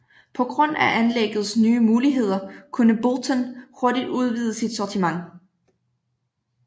På grund af anlæggets nye muligheder kunne Boulton hurtigt udvide sit sortiment